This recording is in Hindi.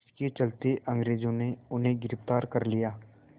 इसके चलते अंग्रेज़ों ने उन्हें गिरफ़्तार कर लिया